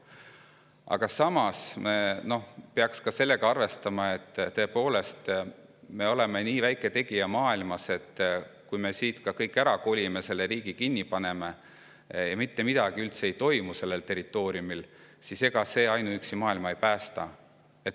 Aga samas me peaksime ka sellega arvestama, et tõepoolest oleme me nii väike tegija maailmas, et kui me kõik siit ära koliksime ja selle riigi kinni paneksime ning kui siin territooriumil üldse mitte midagi ei toimuks, siis ega see ainuüksi maailma ei päästaks.